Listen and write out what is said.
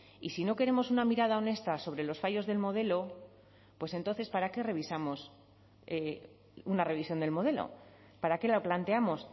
y si no queremos una mirada honesta sobre los fallos del modelo pues entonces para qué revisamos una revisión del modelo para qué la planteamos